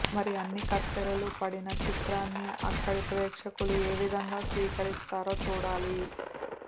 మరి అన్ని కత్తెరలు పడిన చిత్రాన్ని అక్కడి ప్రేక్షకులు ఏవిధంగా స్వీకరిస్తారో చూడాలి